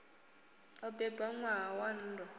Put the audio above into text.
o bebwa ṋwaha wa nndwa